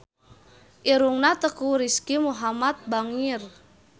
Irungna Teuku Rizky Muhammad bangir